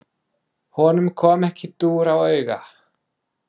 Honum kom ekki dúr á auga.